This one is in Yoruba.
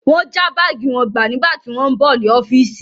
Wọ́n já báàgì wọn gbà nígbà tí wọ́n ń bọ̀ ní ọ́fíìsì.